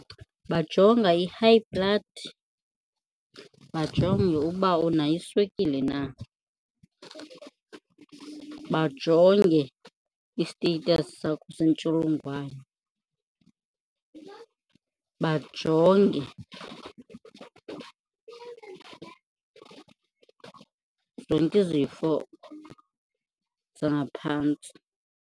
Bajonga i-high blood, bajonge uba unayo iswekile na, bajonge i-status sakho sentsholongwane, bajonge zonke izifo zangaphantsi.